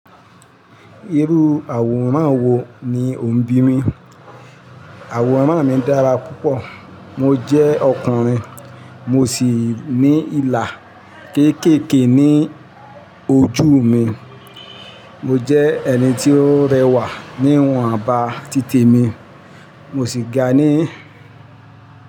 Irú àwòrán wo ni o ń bí mi? Àwòrán mi dára púpọ̀. Mo jẹ́ ọkùnrin, mo ṣì ní ilà kéékèèké ní ojú mi. Mo jẹ́ ẹni tí ó rẹwà níwòn bá títè mi. Mo ṣì ga ní.